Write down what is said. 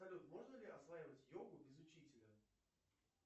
салют можно ли осваивать йогу без учителя